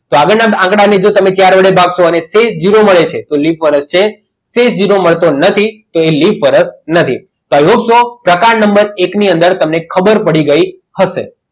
તો આગળના આંકડાને તમે ચાર વડે ભાગશો અને એક ઝીરો મળે છે તો લિપ વર્ષ છે જો ઝીરો મળતો નથી તો તે લિપ વર્ષ નથી હવે પ્રકાર number એકની અંદર તમને ખબર પડી ગઈ હવે